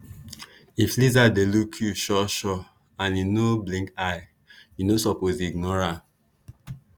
if lizard dey look you sure sure and e no blink eye you no suppose ignore am.